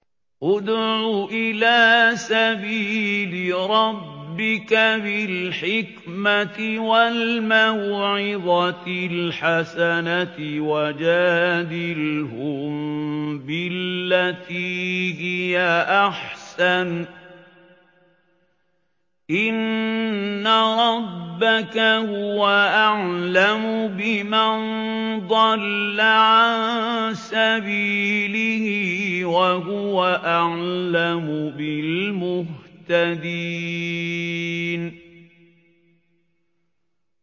ادْعُ إِلَىٰ سَبِيلِ رَبِّكَ بِالْحِكْمَةِ وَالْمَوْعِظَةِ الْحَسَنَةِ ۖ وَجَادِلْهُم بِالَّتِي هِيَ أَحْسَنُ ۚ إِنَّ رَبَّكَ هُوَ أَعْلَمُ بِمَن ضَلَّ عَن سَبِيلِهِ ۖ وَهُوَ أَعْلَمُ بِالْمُهْتَدِينَ